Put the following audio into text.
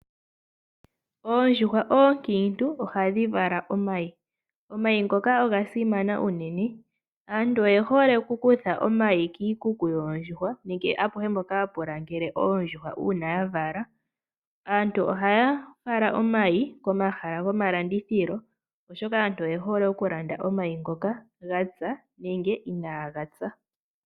Oondjuhwa oonkiitu ohadhi vala omayi. Omayi ngoka oga simana unene. Aantu oye hole okukutha omayi kiikuku yoondjuhwa nenge apehe mpoka hapu langele oondjuhwa uuna dha vala. Aantu ohaya fala omayi komahala gomalandithilo, oshoka aantu oye hole okulanda omayi ngoka, ga pya nenge inaaga pya.